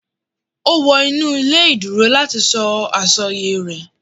O wọ inu ile ìduro lati sọ asọye rẹ.